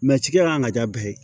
cikɛlan ka diya bɛɛ ye